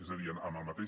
és a dir amb el mateix